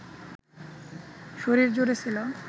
শরীরজুড়ে ছিল